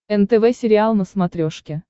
нтв сериал на смотрешке